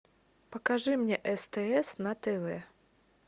покажи мне стс на тв